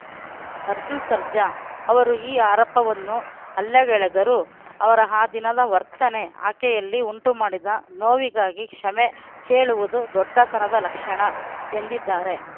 ಅರ್ಜುನ್‌ ಸರ್ಜಾ ಅವರು ಈ ಆರೋಪವನ್ನು ಅಲ್ಲಗಳೆದರೂ ಅವರ ಆ ದಿನದ ವರ್ತನೆ ಆಕೆಯಲ್ಲಿ ಉಂಟುಮಾಡಿದ ನೋವಿಗಾಗಿ ಕ್ಷಮೆ ಕೇಳುವುದು ದೊಡ್ಡತನದ ಲಕ್ಷಣ ಎಂದಿದ್ದಾರೆ